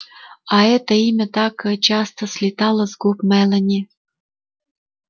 а это имя так часто слетало с губ мелани